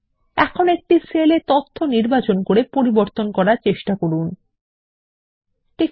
এখন একটি সেল এ তথ্য নির্বাচন করে পরিবর্তন করার চেষ্টা করুন